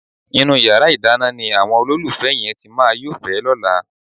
Inú yàrá ìdáná ni àwọn olólùfẹ́ yẹn ti máa yófẹ̀ẹ́ lọ́la.